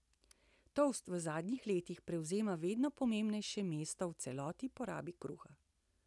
Toast v zadnjih letih prevzema vedno pomembnejše mesto v celotni porabi kruha.